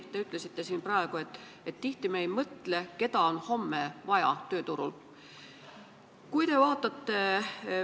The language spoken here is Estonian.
Te ütlesite siin, et tihti me ei mõtle, keda on homme tööturul vaja.